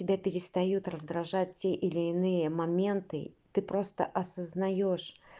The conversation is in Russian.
тебя перестают раздражать те или иные моменты ты просто осознаешь